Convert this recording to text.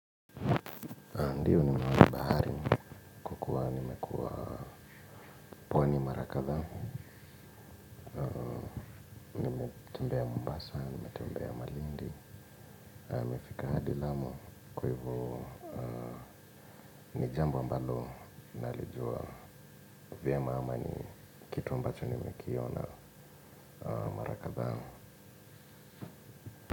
Ndiyo ni mwanabahari, kwa kuwa nimekuwa pwani mara kadhaa, nimetembea mombasa, nimetembea malindi, nimefika hadi lamu kwa hivo ni jambo ambalo, nalijua vyema ama ni kitu ambacho nimekiona mara kadhaa.